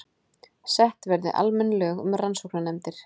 Sett verði almenn lög um rannsóknarnefndir